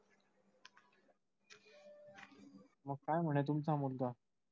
मग काय म्हणे तुमचा मुलगा?